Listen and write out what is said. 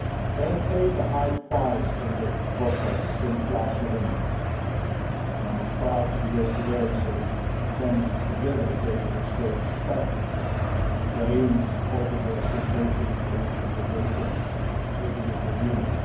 They have paid a high price in the process since last November, and I am proud to be here today so that we can together take a historic step in Ukraine's political association and economic integration with the European Union.